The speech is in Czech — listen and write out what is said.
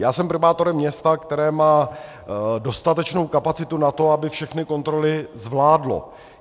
Já jsem primátorem města, které má dostatečnou kapacitu na to, aby všechny kontroly zvládlo.